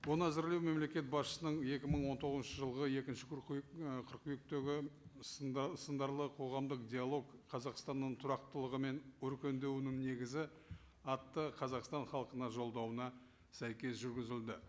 оны әзірлеу мемлекет басшысының екі мың он тоғызыншы жылғы екінші ы қыркүйектегі сындарлы қоғамдық диалог қазақстанның тұрақтылығы мен өркендеуінің негізі атты қазақстан халқына жолдауына сәйкес жүргізілді